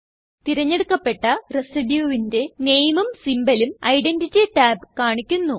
തിരഞ്ഞെടുക്കപ്പെട്ട residueന്റെ Nameഉം Symbolഉം ഐഡന്റിറ്റി ടാബ് കാണിക്കുന്നു